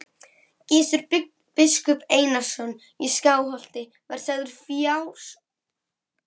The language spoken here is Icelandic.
Gizur biskup Einarsson í Skálholti var sagður fársjúkur.